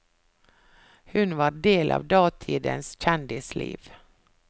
Hun var del av datidens kjendisliv.